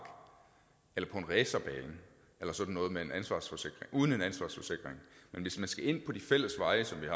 eller på en racerbane eller sådan noget uden en ansvarsforsikring men hvis man skal ind på de fælles veje som vi